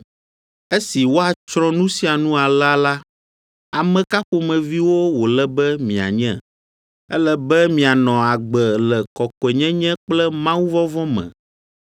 Esi woatsrɔ̃ nu sia nu alea la, ame ka ƒomeviwo wòle be mianye? Ele be mianɔ agbe le kɔkɔenyenye kple mawuvɔvɔ̃ me,